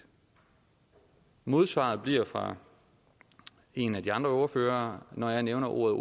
modsvaret fra en af de andre ordførere når jeg nævner ordet